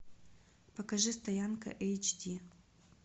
покажи стоянка эйч ди